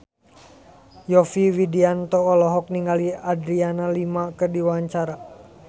Yovie Widianto olohok ningali Adriana Lima keur diwawancara